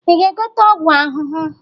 Ị ga-egote ọgwụ ahụhụ?